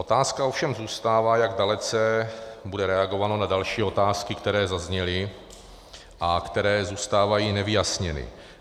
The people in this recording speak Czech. Otázka ovšem zůstává, jak dalece bude reagováno na další otázky, které zazněly a které zůstávají nevyjasněny.